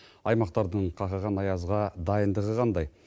аймақтардың қақаған аязға дайындығы қандай